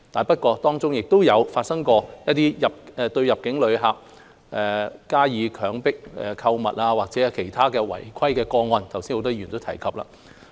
不過，當中亦有發生過入境旅客遭強迫購物的事故，或者其他違規個案，剛才很多議員都有提及。